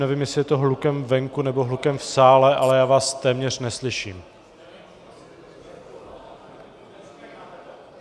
Nevím, jestli je to hlukem venku , nebo hlukem v sále, ale já vás téměř neslyším.